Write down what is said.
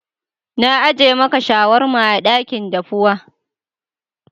Na ajie maka shawarma a dakin dafuwa.